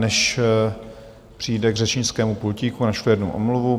Než přijde k řečnickému pultíku, načtu jednu omluvu.